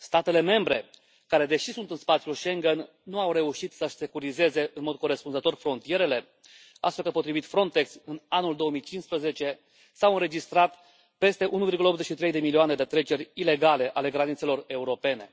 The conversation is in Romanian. Statele membre, care deși sunt în spațiul Schengen, nu au reușit să și securizeze în mod corespunzător frontierele, astfel că, potrivit Frontex, în anul 2015, s au înregistrat peste 1,83 de milioane de treceri ilegale ale granițelor europene.